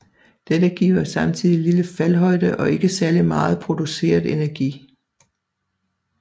Dette giver samtidig lille faldhøjde og ikke særlig megen produceret energi